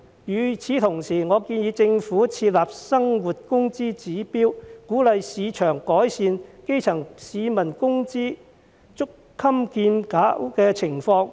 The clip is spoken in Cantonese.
與此同時，我建議政府設立生活工資指標，鼓勵市場改善基層市民工資捉襟見肘的情況。